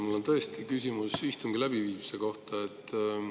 Mul on tõesti küsimus istungi läbiviimise kohta.